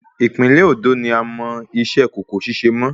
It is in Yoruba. Ìpínlẹ̀ Òndó ni a mọ iṣẹ́ kòkó ṣíṣe mọ́